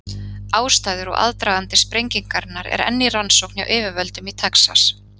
Ástæður og aðdragandi sprengingarinnar er enn í rannsókn hjá yfirvöldum í Texas.